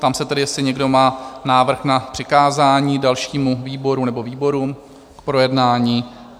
Ptám se tedy, jestli někdo má návrh na přikázání dalšímu výboru nebo výborům k projednání?